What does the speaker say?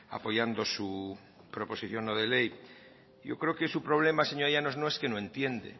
apoyando su proposición no de ley yo creo que su problema señora llanos no es que no entiende